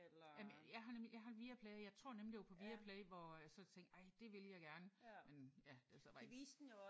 Jamen jeg har nemlig jeg har nemlig Viaplay jeg tror nemlig det var på Viaplay hvor jeg så tænkte ej det ville jeg gerne men ja det er så bare ikke